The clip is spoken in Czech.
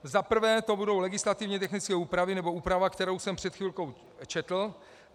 Za prvé to budou legislativně technické úpravy, nebo úprava, kterou jsem před chvilkou četl.